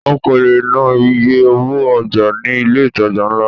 O kò lè ná iye owó ọjà ní ilé ìtajà ńlá.